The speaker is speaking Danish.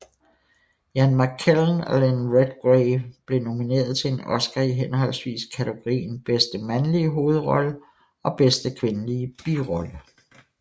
Ian McKellen og Lynn Redgrave blev nomineret til en Oscar i henholdsvis kategorien bedste mandlige hovedrolle og bedste kvindelige birolle